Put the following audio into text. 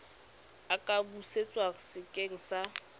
a ka busetswa sekeng sa